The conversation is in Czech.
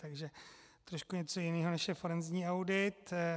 Takže trošku něco jiného, než je forenzní audit.